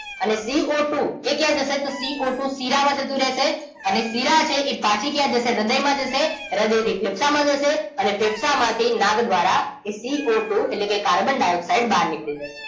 અને CO two એ ક્યાં જશે તો CO ટુ શીરા માં જતું રેસે અને શીરા છે ઈ પાછુ ક્યાં જશે હ્રદય માં જશે હ્રદય થી ફેફસા માં જશે અને ફેફસા માંથી નાક દ્રારા CO ટુ એટલેકે કાર્બન ડાઇઓક્સાઇડ બાર નીકળી જશે